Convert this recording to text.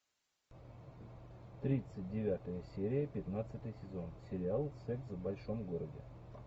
тридцать девятая серия пятнадцатый сезон сериал секс в большом городе